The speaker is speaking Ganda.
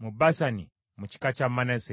mu Basani mu kika kya Manase.